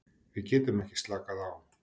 Við getum ekki slakað á.